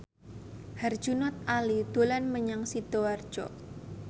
Herjunot Ali dolan menyang Sidoarjo